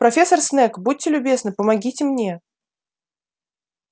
профессор снегг будьте любезны помогите мне